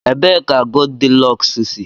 Ebee ka Goldilọks si?